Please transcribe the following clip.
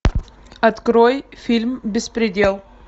открой фильм беспредел